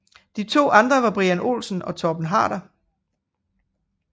De to andre var Brian Olsen og Torben Harder